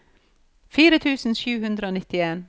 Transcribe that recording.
fire tusen sju hundre og nittien